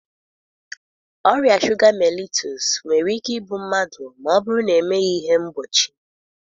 Ọrịa shuga mellitus nwere ike igbu mmadụ ma ọ bụrụ na emeghị ihe mgbochi.